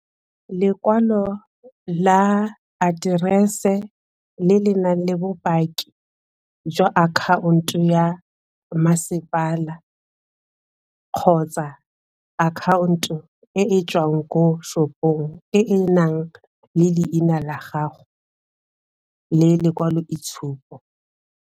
Lekwalo la aterese le le nang le bopaki jwa akhaonto ya masepala kgotsa akhaonto o e tswang ko shop-ong e e nang le leina la gago le lekwaloitshupo